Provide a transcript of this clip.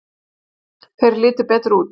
Þeir litu betur út.